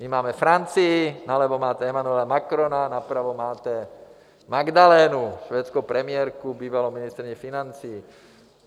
My máme Francii, nalevo máte Emmanuela Macrona, napravo máte Magdalenu, švédskou premiérku, bývalou ministryni financí.